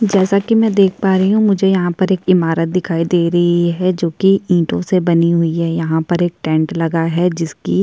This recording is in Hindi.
जैसा कि मैं पर देख पा रही हू मुझे यहाँ पर एक इमारत दिखाई दे रही है जो कि ईटो से बनी हुई है यहाँ पर एक टेंट लगा है जिसकी--